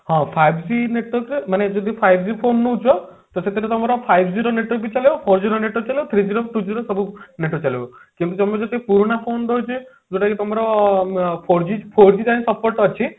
ହଁ five G network ତ ମାନେ ଯଦି five G phone ନଉଛ ତ ସେଥିରେ ତମର five G ର network ବି ଚାଲିବ four G ର network ବି ଚାଲିବ three G ର two G ର ସବୁ network ଚାଲିବ କିନ୍ତୁ ତମେ ଯଦି ପୁରୁଣା phone ଦଉଛେ ଯୋଉଟା କି ତମର four G four G ଟା ହିଁ support ଅଛି